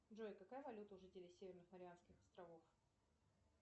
джой какая валюта у жителей северных марианских островов